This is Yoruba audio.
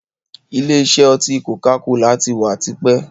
Ìlé isẹ́ oti koka-kola tí wá tipẹ́.